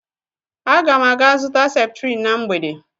Ágà m aga zụta septrin na mgbede